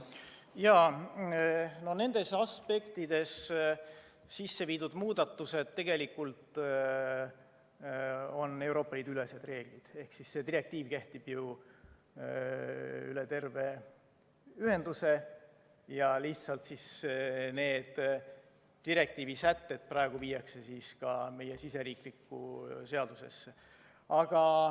Jaa, nendes aspektides sisse viidud muudatused vastavad tegelikult Euroopa Liidu ülestele reeglitele ehk see direktiiv kehtib üle terve ühenduse ja lihtsalt need direktiivi sätted praegu viiakse ka meie siseriiklikku seadusesse.